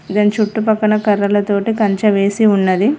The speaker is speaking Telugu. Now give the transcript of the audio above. దాని చుట్టుపక్కన కర్రలతోటి కంచే వేసి ఉన్నది